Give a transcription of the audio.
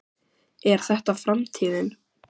Er þetta framtíðin?